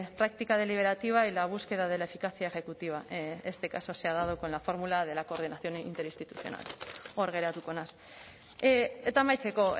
práctica deliberativa y la búsqueda de la eficacia ejecutiva este caso se ha dado con la fórmula de la coordinación interinstitucional hor geratuko naiz eta amaitzeko